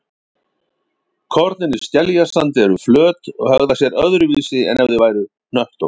Kornin í skeljasandi eru flöt og hegða sér öðruvísi en ef þau væru hnöttótt.